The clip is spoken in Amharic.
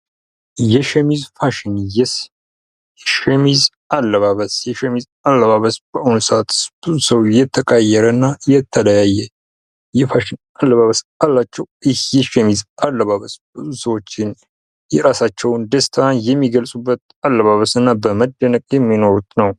የሸሚዝ ፋሽን ። የሸሚዝ አለባበስ ፡ የሸሚዝ አለባበስ በአሁኑ ሰዓት ብዙ ሰው የተቀያየረ እና የተለያየ የፋሽን አለባበስ አላቸው ። ይህ የሸሚዝ አለባበስ በብዙ ሰዎች የራሳቸውን ደስታ የሚገልፁበት አለባበስ እና በመደነቅ የሚኖሩት ነው ።